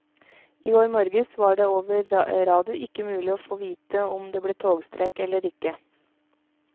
I går morges var det over radio ikke mulig å få vite om det ble togstreik eller ikke.